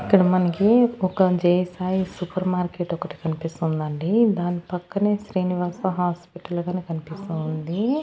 ఇక్కడ మనకి ఒక జేసాయి సూపర్ మార్కెట్ ఒకటి కనిపిస్తోందండి దాని పక్కనే శ్రీనివాస హాస్పిటల్ గాని కనిపిస్తోంది.